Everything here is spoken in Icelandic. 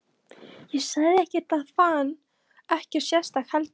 Ég sagði ekkert og fann ekkert sérstakt heldur.